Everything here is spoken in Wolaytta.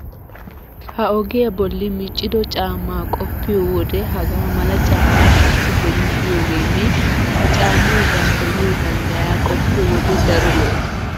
Ha ogiya bolli miccido caamma qoppiyo wode hagaa mala caammay taassi beni de'iyogeenne ha caammay danddayiyo danddayaa qoppiyo wode daro lo"ees.